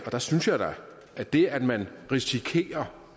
og der synes jeg da at det at man risikerer